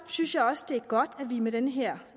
synes jeg også det er godt at vi med den her